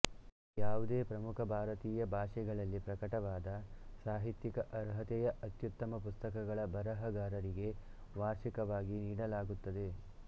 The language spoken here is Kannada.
ಯಾವುದೇ ಪ್ರಮುಖ ಭಾರತೀಯ ಭಾಷೆಗಳಲ್ಲಿ ಪ್ರಕಟವಾದ ಸಾಹಿತ್ಯಿಕ ಅರ್ಹತೆಯ ಅತ್ಯುತ್ತಮ ಪುಸ್ತಕಗಳ ಬರಹಗಾರರಿಗೆ ವಾರ್ಷಿಕವಾಗಿ ನೀಡಲಾಗುತ್ತದೆ